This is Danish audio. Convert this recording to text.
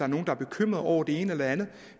nogle er bekymrede over det ene eller andet